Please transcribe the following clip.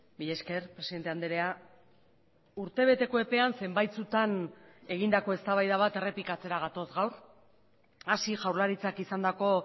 mila esker presidente andrea urtebeteko epean zenbaitzutan egindako eztabaida bat errepikatzera gatoz gaur hasi jaurlaritzak izandako